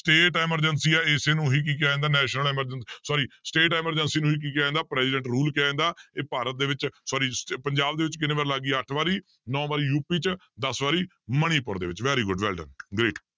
state emergency ਹੈ ਇਸੇ ਨੂੰ ਹੀ ਕੀ ਕਿਹਾ ਜਾਂਦਾ national emergency~ sorry state emergency ਨੂੰ ਹੀ ਕੀ ਕਿਹਾ ਜਾਂਦਾ president rule ਕਿਹਾ ਜਾਂਦਾ ਇਹ ਭਾਰਤ ਦੇ ਵਿੱਚ sorry ਸ~ ਪੰਜਾਬ ਦੇ ਵਿੱਚ ਕਿੰਨੇ ਵਾਰੀ ਲੱਗ ਗਈ ਅੱਠ ਵਾਰੀ, ਨੋਂ ਵਾਰੀ ਯੂਪੀ 'ਚ ਦਸ ਵਾਰੀ ਮਣੀਪੁਰ ਦੇ ਵਿੱਚ very good well done great